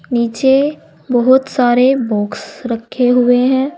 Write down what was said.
नीचे बहुत सारे बॉक्स रखे हुए हैं।